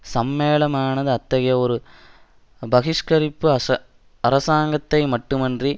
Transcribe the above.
சம்மேளனமானது அத்தகைய ஒரு பகிஷ்கரிப்பு அச அரசாங்கத்தை மட்டுமன்றி